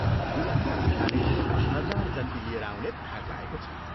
दुलहाका पिताले हजार जन्ती लिएर आउने धाक लाएको छ।